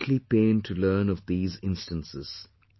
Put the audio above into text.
I am greatly pained to learn of these instances